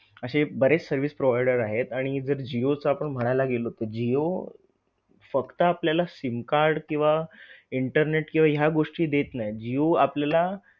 अशे बरेच service provider आहेत आणि जर जिओ चा आपण म्हणायला गेलो तर जिओ फक्त आपल्याला SIM card किंवा internet किंवा ह्या गोष्टी देत नाही जिओ आपल्याला